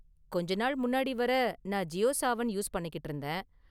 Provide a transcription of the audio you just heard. கொஞ்ச நாள் முன்னாடி வரை நான் ஜியோ சாவன் யூஸ் பண்ணிக்கிட்டு இருந்தேன்.